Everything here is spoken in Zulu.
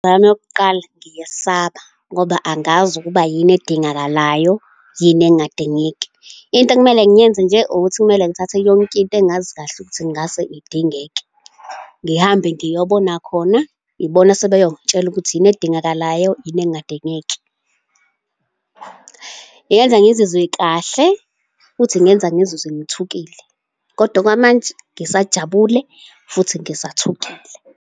Imizwa yami yokuqala, ngiyesaba ngoba angazi ukuba yini edingakalayo, yini engadingeki. Into ekumele ngiyenze nje, ukuthi kumele ngithathe yonke into engazi kahle ukuthi ingase idingeke. Ngihambe ngiyobona khona. Ibona asebeyongitshela ukuthi yini edingakalayo, yini engadingeki. Eyenza ngizizwe kahle futhi kungenza ngizizwe ngithukile, kodwa okwamanje ngisajabulile futhi ngisathukile.